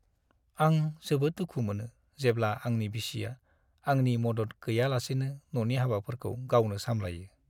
आं जोबोद दुखु मोनो जेब्ला आंनि बिसिया आंनि मदद गैयालासेनो न'नि हाबाफोरखौ गावनो सामलायो।